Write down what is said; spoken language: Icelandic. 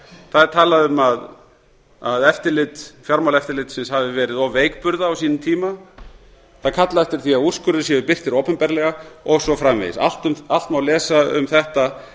það er talað um að eftirlit fjármálaeftirlitsins hafi verið of veikburða á sínum tíma það er kallað eftir því að úrskurðir séu birtir opinberlega og svo framvegis allt má lesa um þetta